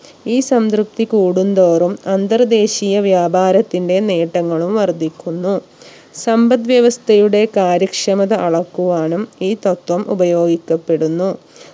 ഈ സംതൃപ്തി കൂടുന്തോറും അന്തർദേശിയ വ്യാപാരത്തിന്റെ നേട്ടങ്ങളും വർധിക്കുന്നു സമ്പത് വ്യവസ്ഥയുടെ കാര്യക്ഷമത അളക്കുവാനും ഈ തത്വം ഉപയോഗിക്കപ്പെടുന്നു